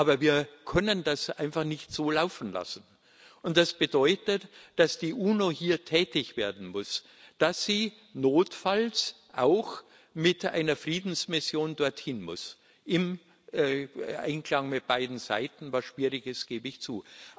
Aber wir können das einfach nicht so laufen lassen, und das bedeutet, dass die UNO hier tätig werden muss, dass sie notfalls auch mit einer Friedensmission dorthin muss, im Einklang mit beiden Seiten, was schwierig ist, das gebe ich zu.